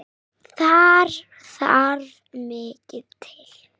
Þar þarf mikið til.